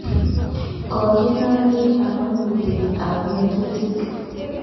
Kokenam piik amun putet ap ng'atutik